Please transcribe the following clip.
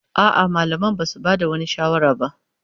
A'a, malaman ba su ba da wani shawara ba.